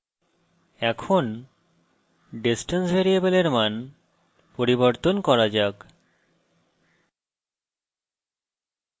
এখন distance ভ্যারিয়েবলের মান পরিবর্তন করা যাক